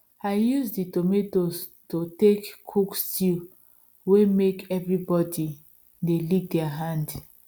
i use the tomatoes to take cook stew way make everybody they lick their hand